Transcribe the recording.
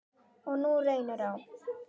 Og nú reynir á.